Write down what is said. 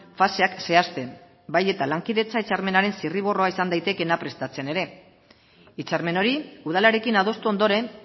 faseak zehazten bai eta lankidetza hitzarmenaren zirriborroa izan daitekeena prestatzen ere hitzarmen hori udalarekin adostu ondoren